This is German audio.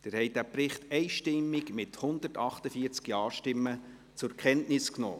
Sie haben den Bericht einstimmig, mit 148 Ja-Stimmen, zur Kenntnis genommen.